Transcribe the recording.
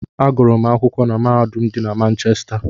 Agụrụ m akwụkwọ na mahadum dị na Manchesta.